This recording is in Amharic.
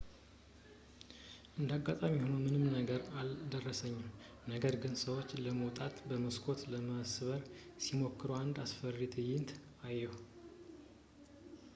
እንደ አጋጣሚ ሆኖ ምንም ነገር አልደረሰብኝም ነገር ግን ሰዎች ለመውጣት መስኮቶችን ለመስበር ሲሞክሩ አንድ አስፈሪ ትዕይንት አየሁ